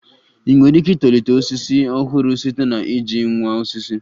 I nwere ike itolite osisi ọhụrụ site na iji nwa osisi